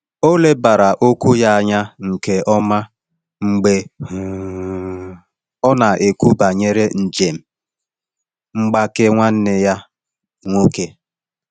Ọ lebara okwu ya anya nke ọma mgbe um ọ na-ekwu banyere njem mgbake nwanne ya nwoke.